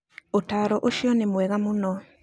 Ũtaaro ũcio nĩ mwega mũno.